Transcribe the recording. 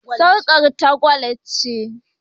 Sarƙar ta gwal ce.